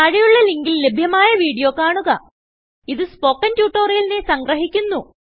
താഴെയുള്ള ലിങ്കിൽ ലഭ്യമായ വീഡിയോ കാണുക ഇതു സ്പോകെൻ ട്യൂട്ടോറിയലിനെ സംഗ്രഹിക്കുന്നു